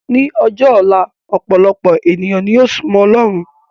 Ní ọjọ́ ọ̀la, ọpọ̀lọpọ̀ ènìyàn ni yóò súmọ́ ọlọ́run